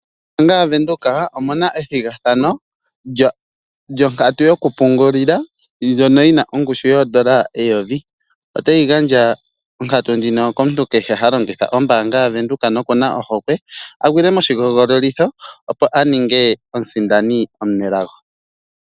Ombaanga yaVenduka omuna ethigathano lyonkatu yokupungulila ndjono yi na ongushu yoodola eyovi. Otayi gandja onkatu ndjino komuntu kehe ha longitha ombaanga yaVenduka nokuna ohokwe a gwile moshihogololitho opo a ninge omusindani omunelago.